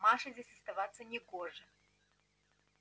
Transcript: маше здесь оставаться не гоже